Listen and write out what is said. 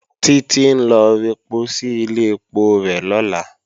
Títí ń lọ rẹpo sí ilé ẹpo rẹ̀ lọ́la